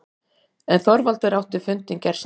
En Þorvaldur átti fundinn- gersamlega.